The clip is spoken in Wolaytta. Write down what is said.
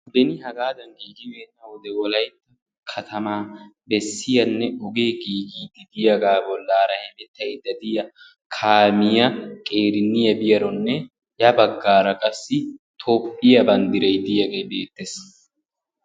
Beni hagaadan giigibeenna wode wolaytta katamaa bessiyanne ogee giigiiddi diyagaa bollaara hemettaydda diya kaamiya qeeranniya biyaronne ya baggaara qassi toophiya banddirayi diyagee beettes.